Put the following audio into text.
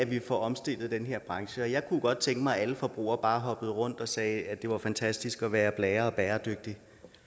vi omstillet den her branche jeg kunne godt tænke mig at alle forbrugere bare hoppede rundt og sagde at det var fantastisk at være blære og bæredygtig